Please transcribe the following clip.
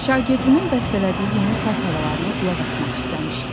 Şagirdinin bəstələdiyi yeni saz havalarına qulaq asmaq istəmişdi.